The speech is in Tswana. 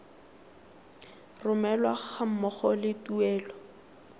romelwa ga mmogo le tuelo